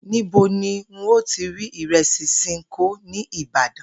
Níbo ni n óò ti rí ìre̩sì S̩inkó ní Ìbàdàn?